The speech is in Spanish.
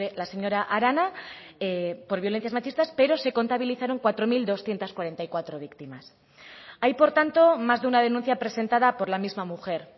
la señora arana por violencias machistas pero se contabilizaron cuatro mil doscientos cuarenta y cuatro víctimas hay por tanto más de una denuncia presentada por la misma mujer